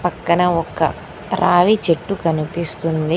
పక్కన ఒక్క రావి చెట్టు కనిపిస్తుంది.